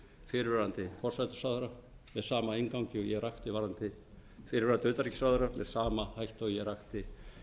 í öðru lagi er málið höfðað gegn ingibjörgu sólrúnu gísladóttur fyrrverandi utanríkisráðherra með sama hætti og ég rakti